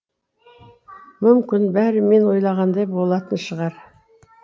мүмкін бәрі мен ойлағандай болатын шығар